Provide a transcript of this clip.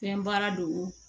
Fɛn baara do